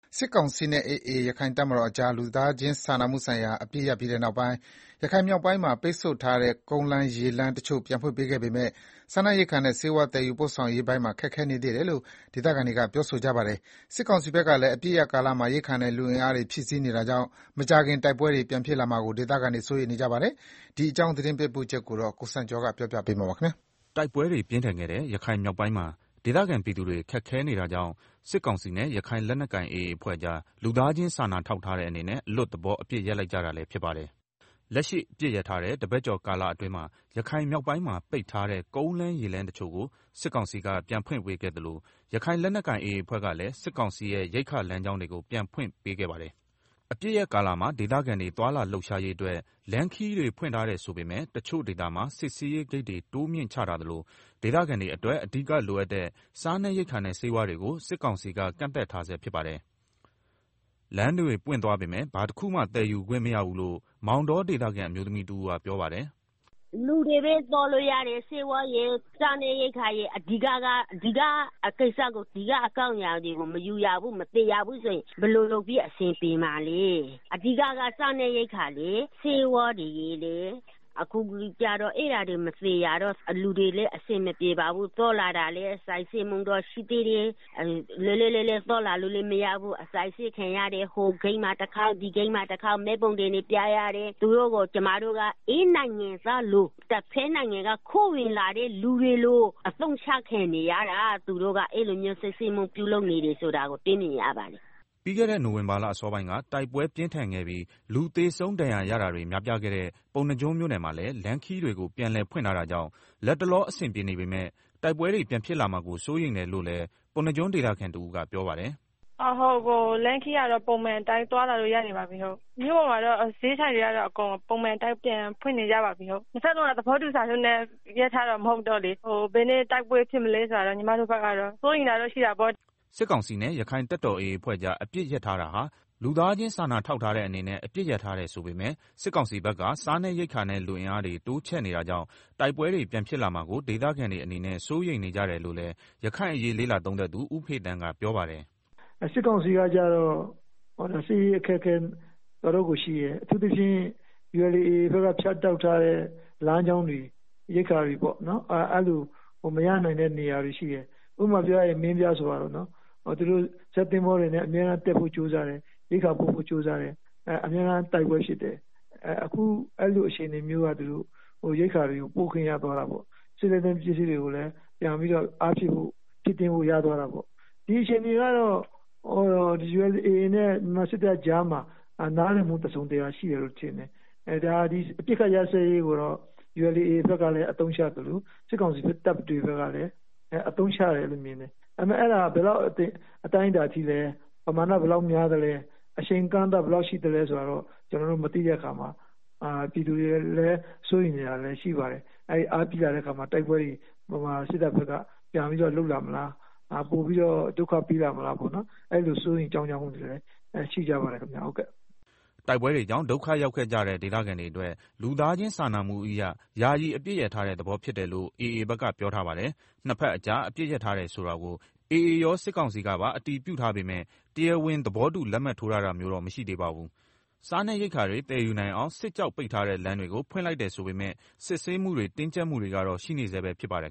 စစ်ကောင်စီနဲ့ AA ရခိုင်တပ်တော်ကြား လူသားချင်းစာနာမှုဆိုင်ရာ အပစ်ရပ်ပြီးနောက်ပိုင်း ရခိုင်မြောက်ပိုင်းမှာ ပိတ်ဆို့ထားတဲ့ ကုန်လမ်းရေလမ်းတချို့ကို ပြန်ဖွင့်ပေးပေမဲ့ စားနပ်ရိက္ခာနဲ့ ဆေးဝါးသယ်ယူရေးပိုင်းတွေမှာ ခက်ခဲနေသေးတယ်လို့ ဒေသခံတွေက ပြောကြပါတယ်။ စစ်ကောင်စီဘက်ကလည်း အပစ်ရပ်ကာလမှာ ရိက္ခာနဲ့လူအင်အားတွေ ဖြည့်တင်းနေတာကြောင့် မကြာခင် တိုက်ပွဲတွေ ပြန်ဖြစ်လာမှာကို ဒေသခံတွေ စိုးရိမ်နေကြပါတယ်။ ရခိုင်ပြည်နယ်တွင်း နောက်ဆုံးအခြေအနေ သတင်ပေးပို့ချက်ကို ကိုစံကျော်က တင်ပြပေးထားပါတယ်။ တိုက်ပွဲတွေပြင်းထန်ခဲ့တဲ့ ရခိုင်မြောက်ပိုင်းမှာ ဒေသခံပြည်သူတွေ ခက်ခဲနေတာကြောင့် စစ်ကောင်စီနဲ့ ရခိုင်လက်နက်ကိုင် AA အဖွဲ့ကြား လူသားချင်း စာနာထောက်ထားတဲ့အနေနဲ့ အလွတ်သဘောအပစ်ရပ်လိုက်ကြတာလည်း ဖြစ်ပါတယ်။ လက်ရှိ အပစ်ရပ်ထားတာတပတ်ကျော်အတွင်းမှာ ရခိုင်မြောက်ပိုင်းမှာ ပိတ်ထားတဲ့ ကုန်းလမ်းရေလမ်းတချို့ကို စစ်ကောင်စီက ပြန်ဖွင့်ပေးခဲ့သလို ရခိုင်လက်နက်ကိုင် AA အဖွဲ့ကလည်း စစ်ကောင်စီရဲ့ရိက္ခာလမ်းကြောင်းတွေကို ပြန်ဖွင့်ပေးခဲ့ပါတယ်။ အပစ်ရပ်ကာလမှာ ဒေသခံတွေ သွားလာလှုပ်ရှားရေးအတွက် လမ်းခရီးတွေ ဖွင့်ပေးထားတယ်ဆိုပေမယ့် တချို့ဒေသမှာ စစ်ဆေးရေးဂိတ်တွေ တိုးမြှင့်ချထားသလို ဒေသခံတွေအတွက် အဓိကလိုအပ်တဲ့ စားနပ်ရိက္ခာနဲ့ ဆေးဝါးတွေကို စစ်ကောင်စီက ကန့်သတ်ထားဆဲဖြစ်ပါတယ်။ လမ်းတွေပွင့်သွားပေမယ့် ဘာတခုမှ သယ်ယူခွင့်မရဘူးလို့ မောင်တောဒေသခံ အမျိုးသမီးတဦး ပြောပါတယ်။ “လူတွေပဲ သွားလို့ရတယ်။ စားနပ်ရိက္ခာရယ်၊ ဆေးဝါးရယ် စတဲ့ အဓိကအကြောင်းအရာတွေကို မယူရဘူး၊ မသယ်ရဘူးဆိုရင် ဘယ်လိုလုပ်ပြီး အဆင်ပြေမှာလဲ။ အဓိက အရေးကြီးတာက စားနပ်ရိက္ခာနဲ့ ဆေးဝါးရယ်၊ အဲဒါတွေ မသယ်ရတော့ လူတွေလည်း အဆင်မပြေဘူး။ သွားလာတာလည်း စစ်ဆေးမှုတွေတော့ ရှိသေးတယ်။ လွတ်လွတ်လပ်လပ်သွားလာလို့ မရသေးဘူး။ အစစ်အဆေးခံရတယ်။ ဟိုဂိတ်မှာတခေါက်၊ ဒီဂိတ်မှာတခေါက်၊ မှတ်ပုံတင်တွေပြရတယ်။ ကျမတို့က ဧည့်နိုင်ငံသားလို တဘက်နိုင်ငံက ခိုးဝင်လာတဲ့သူတွေလို အသုံးချခံနေရတာ၊ အဲလိုမျိုးတွေလုပ်နေတာကို တွေ့မြင်ရပါတယ်။” ပြီးခဲ့တဲ့ နိုဝင်ဘာလအစောပိုင်းက တိုက်ပွဲပြင်းထန်ခဲ့ပြီး လူသေဆုံး ဒဏ်ရာရတာတွေ များပြားခဲ့တဲ့ ပုဏ္ဏားကျွန်းမြို့နယ်မှာလည်း လမ်းခရီးတွေကို ပြန်လည်ဖွင့်ထားတာကြောင့် လတ်တလော အဆင်ပြေနေပေမဲ့ တိုက်ပွဲတွေ ပြန်ဖြစ်လာမှာကို စိုးရိမ်တယ်လို့လည်း ပုဏ္ဏားကျွန်းဒေသခံတဦးကပြောပါတယ်။ “လမ်းခရီးကတော့ ပုံမှန်အတိုင်းသွားလာလို့ရနေပါပြီ။ မြို့ပေါ်မှာလည်း ဈေးဆိုင်တွေ ပုံမှန်အတိုင်းပြန်ဖွင့်နေကြပါပြီ။ ဟုတ်။ နှစ်ဘက်လုံးက သဘောတူစာချုပ်နဲ့ အပစ်ရပ်ထားတာမဟုတ်တော့လေ- ဘယ်နေ့ တိုက်ပွဲပြန်ဖြစ်မလဲဆိုတာတော့ စိုးရိမ်တာပေါ့။” စစ်ကောင်စီနဲ့ ရခိုင်တပ်မတော် AA အဖွဲ့ကြား အပစ်ရပ်ထားတာဟာ လူသားချင်းစာထောက်ထားတဲ့အနေနဲ့ အပစ်ရပ်ထားတယ်ဆိုပေမဲ့ စစ်ကောင်စီဘက်က စားနပ်ရိက္ခာနဲ့ လူအင်အားတွေ တိုးချဲ့နေကြတာကြောင့် တိုက်ပွဲတွေ ပြန်ဖြစ်လာမှာကို ဒေသခံတွေအနေနဲ့ စိုးရိမ်နေကြတယ်လို့လည်း ရခိုင်အရေး လေ့လာသုံးသပ် သူ ဦးဖေသန်း ပြောပါတယ်။ “စစ်ကောင်စီကတော့ စစ်ရေးအခက်အခဲ တော်တော်ရှိတယ်။ အထူးသဖြင့် ULA/AA ဘက်က ဖြတ်တောက်ထားတဲ့ လမ်းကြောင်းတွေ ရိက္ခာတွေပေါ့၊ အဲလိုမရနိုင်တဲ့နေရာတွေရှိတယ်။ ဥပမာပြောရရင် မင်းပြားလိုနေရာပေါ့။ ဇက်သင်္ဘောတွေနဲ့ အမြဲတမ်းတက်ဖို့ ကြိုးစားနေတယ်။ ရိက္ခာပို့ဖို့ကြိုးစားတိုင်း အမြဲတမ်းတိုက်ပွဲဖြစ်တယ်။ အခုအဲလိုအခြေအနေမျိုးကနေ သူတို့ ရိက္ခာပို့ဖို့ ရသွားတာပေါ့။ ဒီအခြေအနေကတော့ ULAနဲ့ မြန်မာစစ်တပ်ကြားမှာ နားလည်မှု တစုံတရာရှိတယ်လို့ မြင်တယ်။....အပစ်ရပ်စဲရေးကိုတော့ AA ဘက်ကအသုံးချသလို စစ်ကောင်စီဘက်ကလည်း အသုံးချတယ်လို့မြင်တယ်။ ဒါပေမဲ့ အဲဒါက ဘယ်လောက် အတိုင်းအတာထိလဲ၊ ပမာဏ ဘယ်လောက်များသလဲ၊ အချိန်အကန့်အသတ် ဘယ်လောက်ရှိသလဲ ဆိုတာ ကျနော်တို့မသိတဲ့အခါမှာ ပြည်သူတွေ စိုးရိမ်နေတာလည်းရှိပါတယ်။ မြန်မာစစ်တပ်ဘက်က ပိုပြီးတော့လုပ်လာမလား၊ ပြန်ပြီးတော့ ဒုက္ခပေးလာမလား စိုးရိမ်ကြောင့်ကြမှုတွေလည်း ရှိကြပါတယ်ခင်ဗျာ။” တိုက်ပွဲတွေကြောင့် ဒုက္ခရောက်ကြတဲ့ ဒေသခံတွေအတွက် လူသားချင်းစာနာမှုအရ ယာယီအပစ်ရပ်ထားတဲ့ သဘောဖြစ်တယ်လို့ AA ဘက်က ပြောထားပါတယ်။ နှစ်ဘက်ကြား အပစ်ရပ်ထားတယ်ဆိုတာကို AA ရော စစ်ကောင်စီကပါ အတည်ပြုထားပေမဲ့ တရားဝင် သဘောတူလက်မှတ်ထိုးတာမျိုးတော့ မရှိသေးပါဘူး။ စားရေရိက္ခာတွေ သယ်ယူနိုင်အောင် စစ်ကြောင့် ပိတ်ထားတဲ့လမ်းတွေကို ဖွင့်လိုက်တယ်ဆိုပေမဲ့ စစ်ဆေးမှုတွေ တင်းကြပ်မှုတွေကတော့ ရှိနေဆဲပဲဖြစ်ပါတယ်